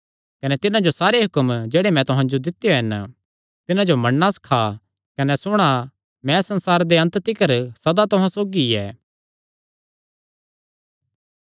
कने तिन्हां जो सारे हुक्म जेह्ड़े मैं तुहां जो दित्यो हन तिन्हां जो मन्नणा सखा कने सुणा मैं संसारे दे अन्त तिकर सदा तुहां सौगी ऐ